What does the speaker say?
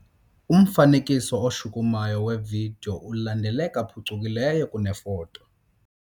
Umfanekiso oshukumayo wevidiyo ulandeleka phucukileyo kunefoto.